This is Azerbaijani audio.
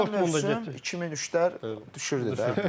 Keçən il 2003-lər düşürdü də.